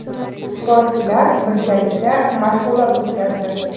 Sportchilar birgalikda mashg‘ulot o‘tkazdi.